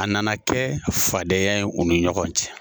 A nana kɛ fadenya ye u ni ɲɔgɔn cɛ